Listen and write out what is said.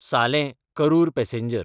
सालें–करूर passenger